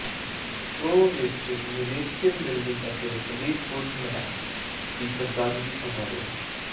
pro ਵਿਚ ਨਿਲੇਸਕਿਨ building ਤੇ ਫਲੀਟਵੁੱਡ ਮੈਕ ਦੀ ਸ਼ਰਧਾਂਜਲੀ ਸਮਾਰੋਹ